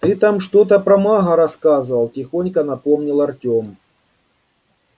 ты там что-то про мага рассказывал тихонько напомнил артём